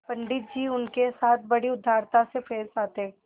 पंडित जी उनके साथ बड़ी उदारता से पेश आते